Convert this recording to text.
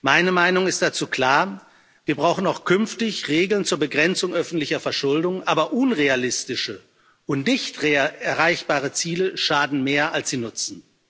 Meine Meinung dazu ist klar Wir brauchen auch künftig Regeln zur Begrenzung öffentlicher Verschuldung, aber unrealistische und nicht erreichbare Ziele schaden mehr, als sie nutzen.